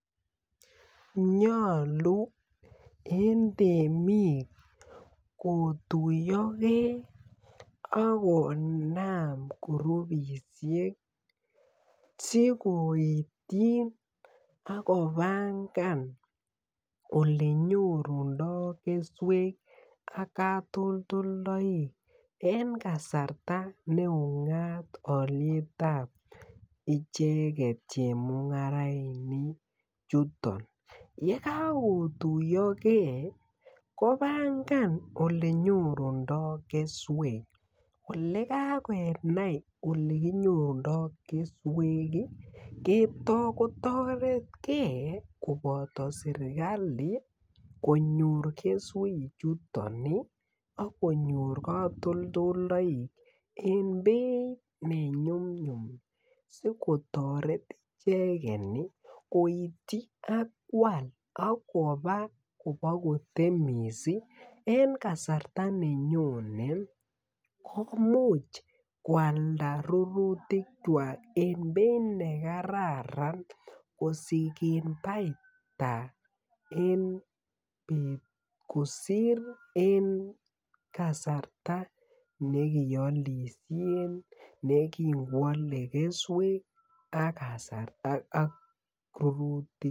Nyolu en temik kotuyo ge ak konam kurupisiek si koityin ak kopangan Ole nyorunen keswek ak katoldoleywek en kasarta en kasarta ne ungat beit ab icheget chemungarainik chuto ye kagotuyo ge kopangan Ole nyorundoi keswek Olon kagenai Ole kinyorundoi keswek kotoret ge koboto serkali konyor keswechuto ak konyor katoldoleywek en beit ne nyumnyum asi kotoret icheget koityi ak koal ak koba kotemis en kasarta ne nyone komuch kwalda rurutikwak en beit nekararan kosigen baita en bet kosir en kasarta nekialisie yekin koale keswek ak rurutik